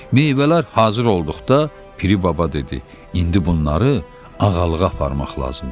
Meyvələr hazır olduqda Piri baba dedi: İndi bunları ağalığa aparmaq lazımdır.